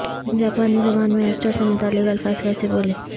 جاپانی زبان میں ایسٹر سے متعلق الفاظ کیسے بولیں